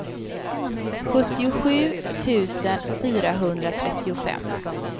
sjuttiosju tusen fyrahundratrettiofem